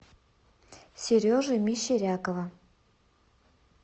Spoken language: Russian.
сережи мещерякова